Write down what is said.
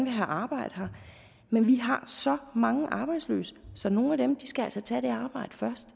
have arbejde her men vi har så mange arbejdsløse så nogle af dem skal altså tage det arbejde først